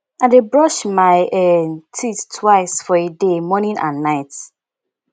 i dey brush my um teeth twice for a day morning and night